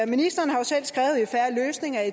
ministeren har jo selv skrevet i en fair løsning at i